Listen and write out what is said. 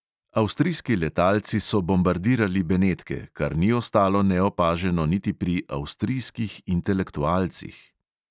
Avstrijski letalci so bombardirali benetke, kar ni ostalo neopaženo niti pri avstrijskih intelektualcih.